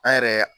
An yɛrɛ